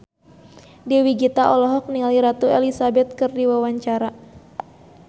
Dewi Gita olohok ningali Ratu Elizabeth keur diwawancara